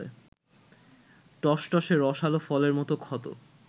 টসটসে রসাল ফলের মতো ক্ষত